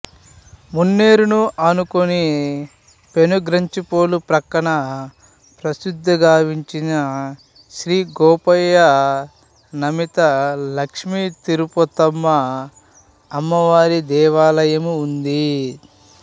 మున్నేరును ఆనుకొని పెనుగంచిప్రోలు పక్కన ప్రసిద్ధి గాంచిన శ్రీ గోపయ్య నమేత లక్ష్మీ తిరుపతమ్మ అమ్మ వారి దేవాలయము ఉంది